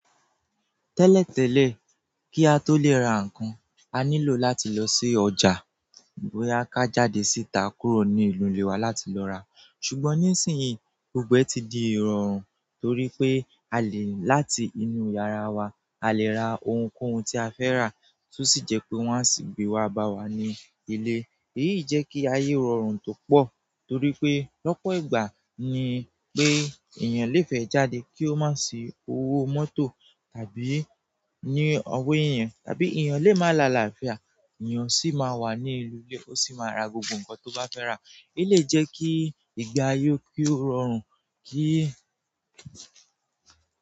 Tẹ́lẹ̀tẹ́lẹ̀ kí a tó lè ra nǹkan, a nílò láti lọ sí ọjà, boya ká jáde síta kúrò ní ìnu ìlé wa láti lọ ra. Ṣùgbọ́n nísìnyí, gbogbo ẹ́ ti di ìrọ̀rùn torí pé a lè láti inú yàrá wa, a lè ra ohunkóhun tí a fẹ́ rà, tó sì jẹ́ pé wọ́n á sì gbé wá bá wa ní ilé. Èyí jẹ́ kí ayé rọrùn púpọ̀ torí pé lọ́pọ̀ ìgbà ni pé èèyàn léfe jáde kí ó má si owó mọ́tò tàbí ní ọwọ́ yẹn tàbí èèyàn lè máa la àlàáfíà, èèyàn sì máa wà ní ìlú lè, ó sì máa ra gbogbo nǹkan tó bá fẹ́ rà. E lè jẹ́ kí ìgbà ayé kí ó rọrùn kí.